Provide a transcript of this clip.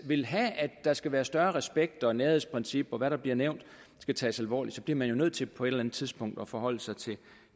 vil have at der skal være større respekt og at nærhedsprincip og hvad der bliver nævnt skal tages alvorligt så bliver man jo nødt til på et eller andet tidspunkt at forholde sig til